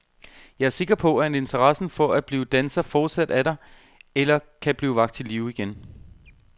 Jeg er sikker på, at interessen for at blive danser fortsat er der, eller kan blive vakt til live igen.